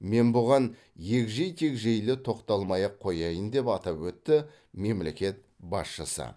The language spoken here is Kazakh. мен бұған егжей тегжейлі тоқталмай ақ қояйын деп атап өтті мемлекет басшысы